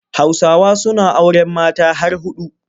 Hausawa suna auren mata har huɗu.